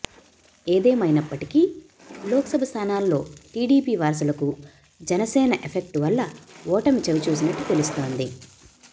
ఏదేమైన్పటికీ లోక్సభ స్థానాల్లో టీడీపీ వారసులకు జనసేన ఎఫెక్టు వల్ల ఓటమి చవి చూసినట్టు తెలుస్తోంది